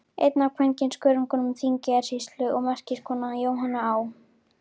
Einn af kvenskörungum Þingeyjarsýslu og merkiskona, Jóhanna Á.